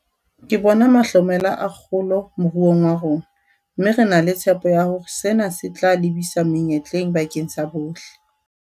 Ke bona mahlomela a kgolo moruong wa rona, mme re na le tshepo ya hore sena se tla lebisa menyetleng bakeng sa bohle.